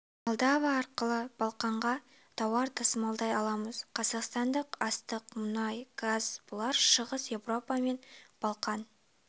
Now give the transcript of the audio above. молдова арқылы балқанға тауар тасымалдай аламыз қазақстандық астық мұнай газ бұлар шығыс еуропа мен балқан